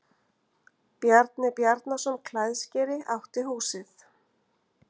Bjarni Bjarnason klæðskeri átti húsið.